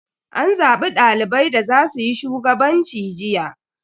An zabi dalibai da za suyi shugabanci jiya.